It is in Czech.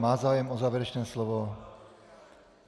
Má zájem o závěrečné slovo.